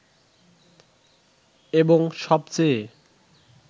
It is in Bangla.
এবং সবচেয়ে